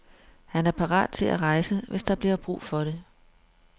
Han er parat til at rejse, hvis der bliver brug for det.